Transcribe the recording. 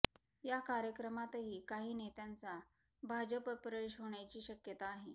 या कार्यक्रमातही काही नेत्यांचा भाजप प्रवेश होण्याची शक्यता आहे